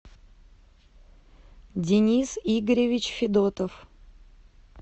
денис игоревич федотов